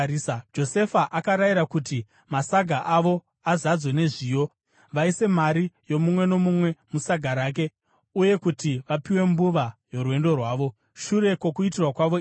Josefa akarayira kuti masaga avo azadzwe nezviyo, vaise mari yomumwe nomumwe musaga rake, uye kuti vapiwe mbuva yorwendo rwavo. Shure kwokuitirwa kwavo izvi,